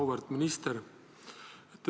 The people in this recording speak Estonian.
Auväärt minister!